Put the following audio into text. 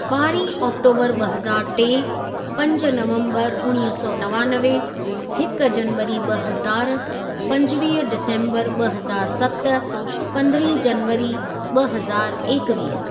ॿारहीं आकटोबर ॿ हज़ार टे, पंज नवम्बरु उणवीह सौ नवानवे, हिक जनवरी ॿ हज़ार, पंजवीह डिसम्बर ॿ हज़ार सत, पंद्रहीं जनवरी ॿ हज़ार एकवीह।